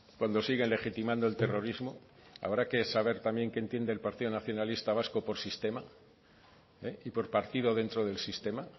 cuando siguen legitimando el terrorismo habrá que saber también qué entiende el partido nacionalista vasco por sistema y por partido dentro del sistema